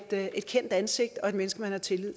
er et kendt ansigt og et menneske man har tillid